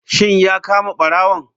Shin ya kama barawon?